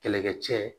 Kɛlɛkɛcɛ